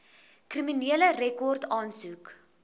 kriminele rekord aansoek